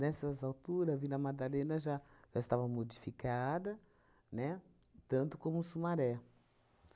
altura, Vila Madalena já já estava modificada, né? Tanto como Sumaré.